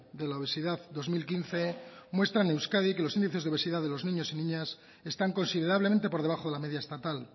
de la obesidad dos mil quince muestra en euskadi que los índices de obesidad de los niños y niñas están considerablemente por debajo de la media estatal